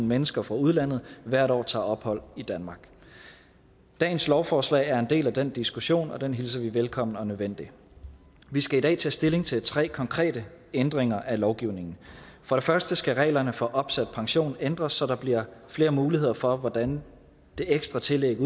mennesker fra udlandet hvert år tager ophold i danmark dagens lovforslag er en del af den diskussion og den hilser vi velkommen og nødvendig vi skal i dag tage stilling til tre konkrete ændringer af lovgivningen for det første skal reglerne for opsat pension ændres så der bliver flere muligheder for hvordan det ekstra tillæg